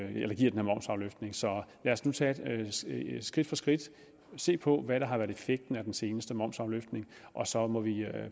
med momsafløftningen så lad os nu tage det skridt for skridt og se på hvad der har været effekten af den seneste momsafløftning og så må vi